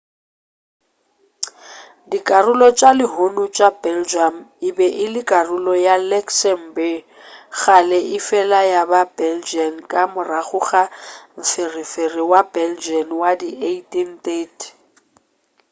dikarolo tša lehono tša belgium e be e le karolo ya luxembourg kgale efela ya ba belgian ka morago ga mpherefere wa belgian wa di 1830